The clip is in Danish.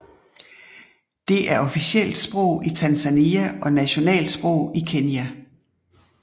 Det er officielt sprog i Tanzania og nationalt sprog i Kenya